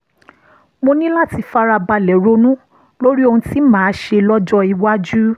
mo ní láti fara balẹ̀ ronú lórí ohun tí màá ṣe lọ́jọ́ iwájú